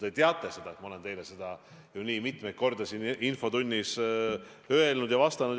Te teate seda, härra Rõivas, sest ma olen seda teile juba mitmeid kordi siin infotunnis vastates seda öelnud.